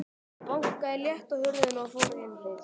Ég bankaði létt á hurðina og fór inn.